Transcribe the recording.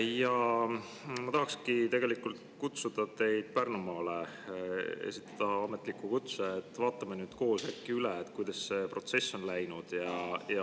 Ja ma tahan tegelikult kutsuda teid Pärnumaale, esitada ametliku kutse, vaatame äkki koos üle, kuidas see protsess on läinud.